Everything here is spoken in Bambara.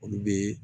Olu be